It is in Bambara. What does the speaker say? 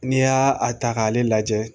N'i y'a a ta k'ale lajɛ